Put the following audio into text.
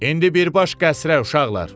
İndi birbaş qəsrə, uşaqlar!